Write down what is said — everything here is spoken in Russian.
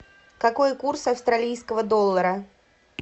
какой курс австралийского доллара